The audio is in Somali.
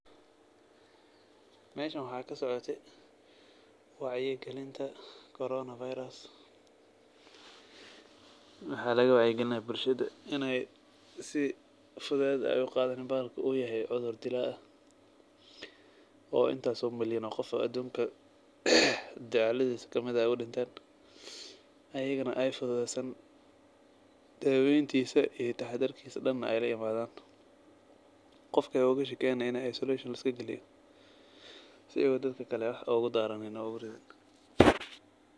Meeshan waxaa kasocotay wacyi gelinta corona virus. Waxaa laga wacyi gelinayaa bulshada inaay si fudeed ah u qaadin balha uu yahay cudur dilaa ah oo intaas oo maliyaan oo qof adunka dacaladiisa kamid ah u dhinteen, ayigana ay fududeysan daaweyntiisa iyo taxdirkiisa dhan ay la yimaadan. Qofka oogu shakiyaana inaay isolation la iska giliyo si uu dadka kale wax uuga daaranin.